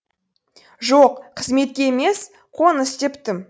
жоқ қызметке емес қоныс тептім